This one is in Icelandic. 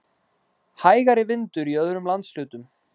Hægari vindur í öðrum landshlutum